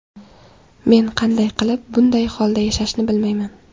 Men qanday qilib bunday holda yashashni bilmayman.